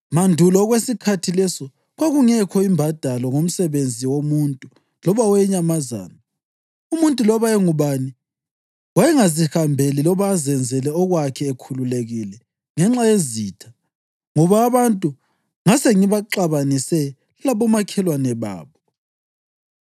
Mandulo kwesikhathi leso kwakungekho imbadalo ngomsebenzi womuntu loba owenyamazana. Umuntu loba engubani wayengazihambeli loba azenzele okwakhe ekhululekile ngenxa yezitha, ngoba abantu ngasengibaxabanise labomakhelwane babo.